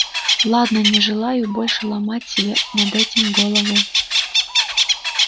ладно не желаю больше ломать себя над этим голову